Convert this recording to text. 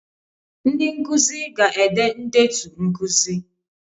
Ndị nkuzi ga-ede ndetu nkuzi